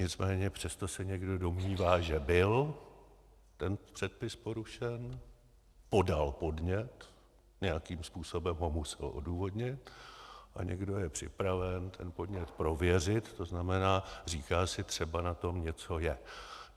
Nicméně přesto se někdo domnívá, že byl ten předpis porušen, podal podnět, nějakým způsobem ho musel odůvodnit a někdo je připraven ten podnět prověřit, to znamená, říká si - třeba na tom něco je.